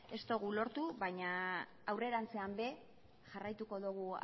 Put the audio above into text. ez dugu lortu baina aurrerantzean ere jarraituko dugu